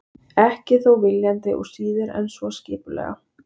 Ekki þó viljandi og síður en svo skipulega.